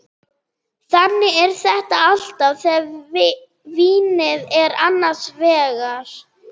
Þannig er þetta alltaf þegar vínið er annars vegar.